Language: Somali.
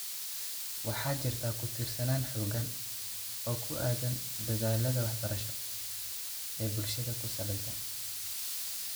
Waxaa jirta ku-tiirsanaan xooggan oo ku aaddan dadaallada waxbarasho ee bulshada ku saleysan.